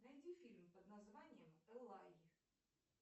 найди фильм под названием элай